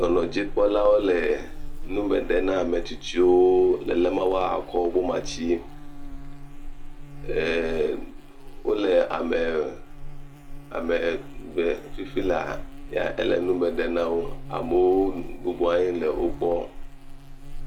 Dɔdzikpɔlawo le nume ɖem na ame tsitsiwo be na woakɔ woƒe matsi. Eeeee wole ame ɖem fifia lae Ele nume ɖem nawo. Amewo bubu nɔ anyi le nu kpɔm le